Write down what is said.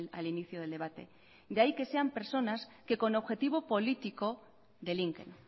al inicio del debate de ahí que sean personas que con objetivo político delinquen